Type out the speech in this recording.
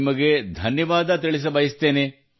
ನಿಮಗೆ ಧನ್ಯವಾದ ತಿಳಿಸಬಯಸುತ್ತೇನೆ